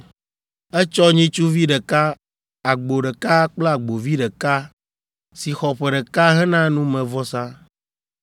Etsɔ nyitsuvi ɖeka, agbo ɖeka kple agbovi ɖeka, si xɔ ƒe ɖeka hena numevɔsa,